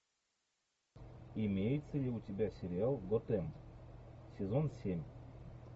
имеется ли у тебя сериал готэм сезон семь